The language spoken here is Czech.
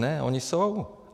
Ne, ony jsou.